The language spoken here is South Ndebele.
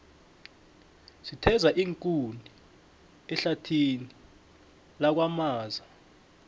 sitheza iinkuni ehlathini lakwamaza